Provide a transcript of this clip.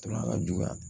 ka juguya